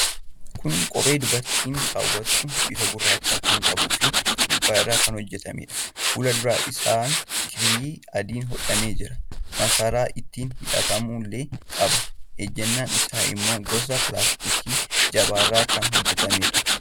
Kun kophee dubartiiin kaawwattu, bifa gurraacha kan qabu fi gogaa irraa kan hojjatamedha. Fuuldura isaan kirrii adiin hodhamee jira. masaraa ittiin hidhatamullee qaba. Ejjannaan isaa immoo gosa plaaastikaa jabaa irraa kan hojjatamedha.